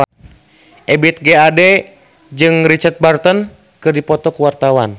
Ebith G. Ade jeung Richard Burton keur dipoto ku wartawan